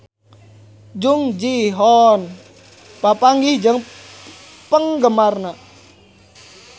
Jung Ji Hoon papanggih jeung penggemarna